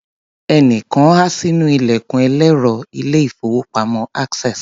Ẹnìkan há sínú ilẹ̀kùn ẹlẹ́rọ ilé-ìfowópamọ́ Access.